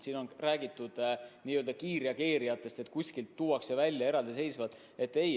Siin on räägitud kiirreageerijatest, et kuskilt on need eraldi välja toodud.